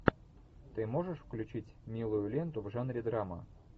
ты можешь включить милую ленту в жанре драма